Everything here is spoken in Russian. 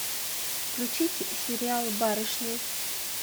включить сериал барышня